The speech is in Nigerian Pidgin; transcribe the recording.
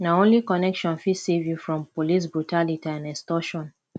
na only connection fit save you from police brutality and extortion